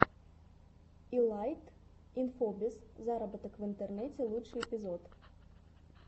илайт инфобиз зароботок в интернете лучший эпизод